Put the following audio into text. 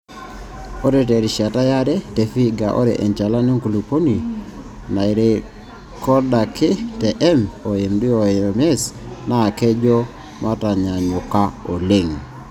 Ore te rishata yare te Vihiga ore enchalan oonkulupuok naairrekodaki te M oMD oMS naa kejo mataanyaanyuka oleng te nkolong e artam oobo o onom ookuni ontomoni Ile waare ontomoni naapishana oong'wan.